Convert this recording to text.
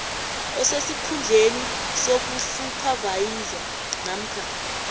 osesikhundleni sobusuphavayiza namkha